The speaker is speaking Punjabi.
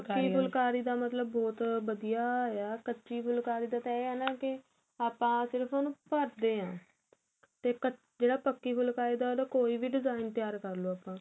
ਪੱਕੀ ਫੁਲਕਾਰੀ ਦਾ ਮਤਲਬ ਬਹੁਤ ਵਧੀਆ ਆਂ ਕੱਚੀ ਫੁਲਕਾਰੀ ਦਾ ਏਹ ਨਾ ਕਿ ਆਪਾ ਸਿਰਫ਼ ਉਹਨੂੰ ਭਰਦੇ ਹਾਂ ਤੇ ਜਿਹੜੀ ਪੱਕੀ ਫੁਲਕਾਰੀ ਉਹਦਾ ਕੋਈ ਵੀ design ਤਿਆਰ ਕਰਲੋ ਆਪਾ